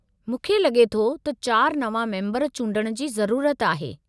मूंखे लगे॒ थो त चार नवां मेम्बर चूंडण जी ज़रूरत आहे।